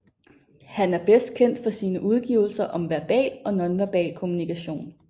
Han er bedst kendt for sine udgivelser om verbal og nonverbal kommunikation